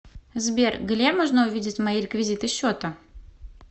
сбер гле можно увидеть мои реквизиты счета